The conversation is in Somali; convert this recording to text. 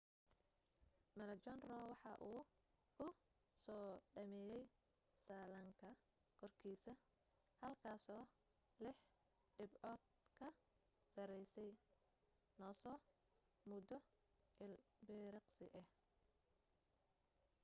maroochydore waxa uu ku soo dhameeyay sallaanka korkiisa halkaasoo lix dhibcood ka sarraysa noosa muddo ilbiriqsi ah